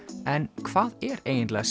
en hvað er eiginlega